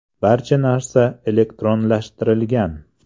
Barcha narsa elektronlashtirilgan.